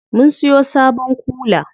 Mun siyo sabon kula.